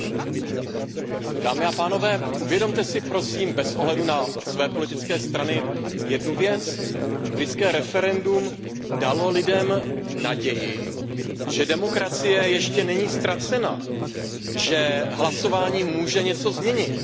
Paní předsedající, dámy a pánové, uvědomte si prosím bez ohledu na své politické strany jednu věc. Britské referendum dalo lidem naději, že demokracie ještě není ztracena, že hlasování může něco změnit.